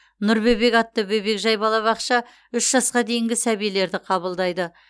нұр бөбек атты бөбекжай балабақша үш жасқа дейінгі сәбилерді қабылдайды